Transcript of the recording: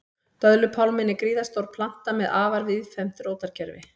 Döðlupálminn er gríðarstór planta með afar víðfeðmt rótarkerfi.